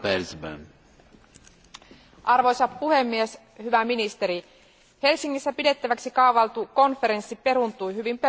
Arvoisa puhemies, hyvä ministeri, Helsingissä pidettäväksi kaavailtu konferenssi peruuntui hyvin perustavanlaatuisesta syystä.